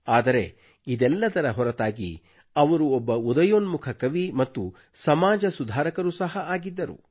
ಆದರೆ ಇದೆಲ್ಲದರ ಹೊರತಾಗಿ ಅವರು ಒಬ್ಬ ಉದಯೋನ್ಮುಖ ಕವಿ ಮತ್ತು ಸಮಾಜ ಸುಧಾರಕರೂ ಸಹ ಆಗಿದ್ದರು